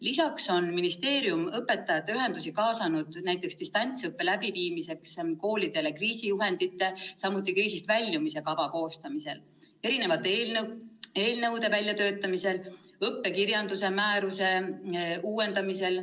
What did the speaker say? Lisaks on ministeerium õpetajate ühendusi kaasanud näiteks distantsõppe läbiviimiseks koolidele kriisijuhendite, samuti kriisist väljumise kava koostamisel, eelnõude väljatöötamisel ja õppekirjanduse määruse uuendamisel.